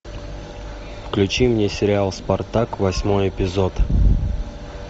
включи мне сериал спартак восьмой эпизод